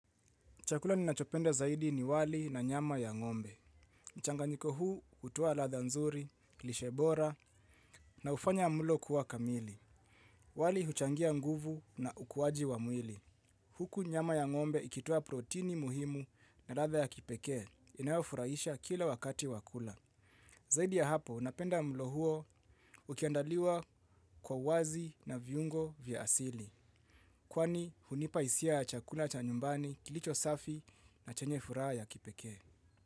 Chakula ninachopenda zaidi ni wali na nyama ya ngombe. Mchanganyiko huu hutoa ladha nzuri, lishe bora na hufanya mlo kuwa kamili. Wali huchangia nguvu na ukuaji wa mwili. Huku nyama ya ngombe ikitoa protini muhimu na ladha ya kipekee inayofurahisha kila wakati wa kula. Zaidi ya hapo, napenda mlo huo ukiandaliwa kwa wazi na viungo vya asili. Kwani hunipa hisia ya chakula cha nyumbani kilicho safi na chenye furaha ya kipekee.